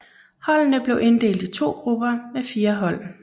Holdene blev inddelt i to grupper med fire hold